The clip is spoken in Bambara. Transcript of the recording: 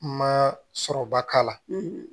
Ma sɔrɔba k'a la